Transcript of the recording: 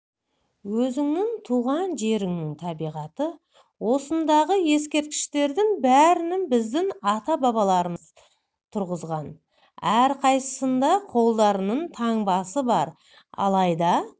өзіңнің туған жеріңнің табиғаты осындағы ескерткіштердің бәрін біздің ата-бабаларымыз тұрғызған әрқайсысында қолдарының таңбасы бар алайда